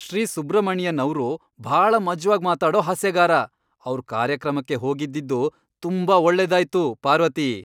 ಶ್ರೀ ಸುಬ್ರಮಣಿಯನ್ ಅವ್ರು ಭಾಳ ಮಜ್ವಾಗ್ ಮಾತಾಡೋ ಹಾಸ್ಯಗಾರ. ಅವ್ರ್ ಕಾರ್ಯಕ್ರಮಕ್ಕೆ ಹೋಗಿದ್ದಿದ್ದು ತುಂಬಾ ಒಳ್ಳೆದಾಯ್ತು, ಪಾರ್ವತಿ.